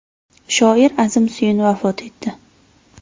Shoir Azim Suyun vafot etdi.